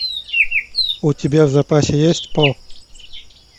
у тебя в запасе есть по